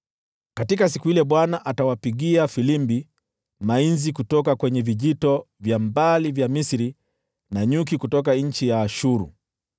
Katika siku ile Bwana atawapigia filimbi mainzi kutoka vijito vya mbali vya Misri, na nyuki kutoka nchi ya Ashuru.